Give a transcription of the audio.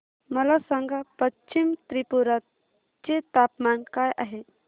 मला सांगा पश्चिम त्रिपुरा चे तापमान काय आहे